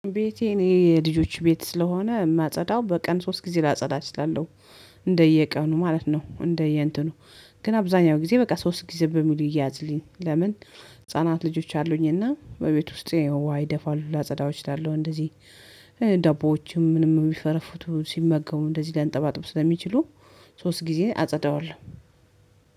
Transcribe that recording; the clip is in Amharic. ቤቴ እኔ የልጆች ቤት ስለሆነ የማጸዳው በቀን ሶስት ጊዜ ላጸዳ እችላለሁ። እንደየቀኑ ማለት ነው እንደየ እንትኑ ነው። ግን አብዛኛው ጊዜ በቃ ሶስት ጊዜ በሚሉ ይያዝልኝ ለምን? ህፃናት ልጆች አሉኝ እና በቤት ውስጥ ዉሃ ይደፋሉ ላጸዳው እችላለሁ እንደዚህ። ዳቦዎችም ምንም የሚፈረፉቱ ሲመገቡ እንደዚህ ሊያንጠባጥብ ስለሚችሉ። ሶስት ጊዜ አጸደዋለሁ